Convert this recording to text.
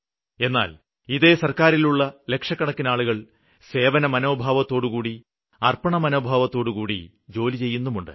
എന്നാല് ഇതേ സര്ക്കാരിലുള്ള ലക്ഷക്കണക്കിനാളുകള് സേവനമനോഭാവത്തോടുകൂടി അര്പ്പണമനോഭാവത്തോടുകൂടി ജോലി ചെയ്യുന്നുമുണ്ട്